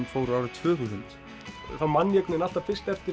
fór árið tvö þúsund þá man ég alltaf fyrst eftir